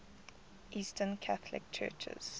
eastern catholic churches